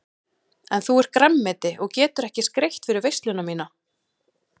En þú ert grænmeti og getur ekki skreytt fyrir veisluna MÍNA.